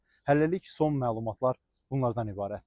Hələlik son məlumatlar bunlardan ibarətdir.